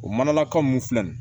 O manaka mun filɛ nin